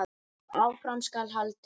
Áfram skal haldið.